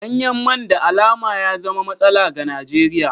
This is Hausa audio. Danyen man da alama ya zama matsala ga Najeriya.